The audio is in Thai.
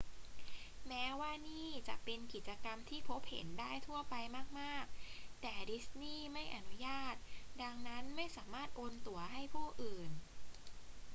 แม้ว่านี่จะเป็นกิจกรรมที่พบเห็นได้ทั่วไปมาก ๆ แต่ดิสนีย์ไม่อนุญาต ดังนั้น ไม่สามารถโอนตั๋วให้ผู้อื่น